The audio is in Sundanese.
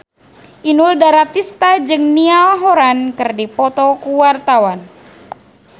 Inul Daratista jeung Niall Horran keur dipoto ku wartawan